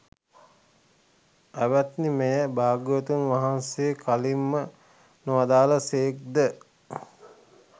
ඇවැත්නි මෙය භාග්‍යවතුන් වහන්සේ කලින් ම නොවදාළ සේක් ද?